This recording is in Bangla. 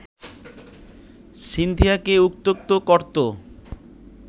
সিনথিয়াকে উত্ত্যক্ত করতো